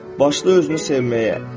Başla özünü sevməyə.